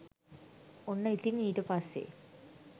ඔන්න ඉතිං ඊට පස්සේ